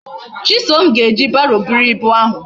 Chisom a ga eji barrow buru ibu ahu?